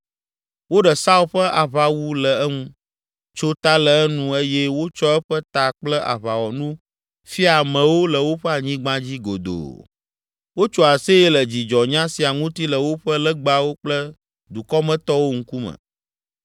Woɖe Saul ƒe aʋawu le eŋu, tso ta le enu eye wotsɔ eƒe ta kple aʋawɔnu fia amewo le woƒe anyigba dzi godoo. Wotso aseye le dzidzɔnya sia ŋuti le woƒe legbawo kple dukɔmetɔwo ŋkume.